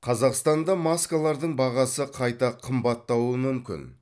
қазақстанда маскалардың бағасы қайта қымбаттауы мүмкін